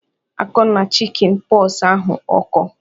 Akọna chikin pox ahu ọkọ!"